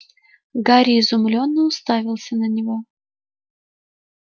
гарри изумлённо уставился на него